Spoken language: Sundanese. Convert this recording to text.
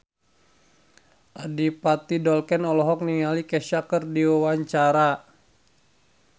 Adipati Dolken olohok ningali Kesha keur diwawancara